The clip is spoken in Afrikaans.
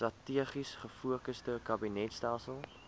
strategies gefokusde kabinetstelsel